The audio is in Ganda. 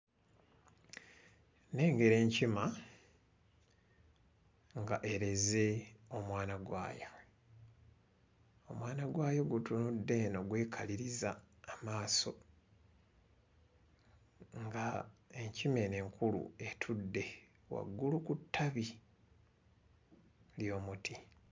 Nnengera enkima nga ereze omwana gwayo. Omwana gwayo gutunudde eno gwekaliriza amaaso nga enkima eno enkulu etudde waggulu ku ttabi ly'omuti.